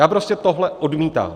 Já prostě tohle odmítám.